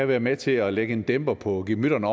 være med til at lægge en dæmper på gemytterne